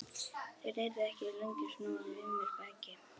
Þeir yrðu ekki lengi að snúa við mér baki.